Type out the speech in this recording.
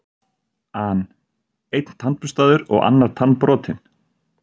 an: Einn tannburstaður og annar tannbrotinn.